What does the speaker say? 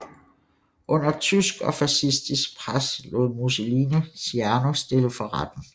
Under tysk og fascistisk pres lod Mussolini Ciano stille for retten